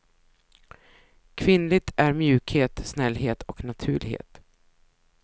Kvinnligt är mjukhet, snällhet och naturlighet.